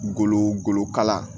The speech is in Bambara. Golo goloka